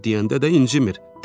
Kor deyəndə də incimir.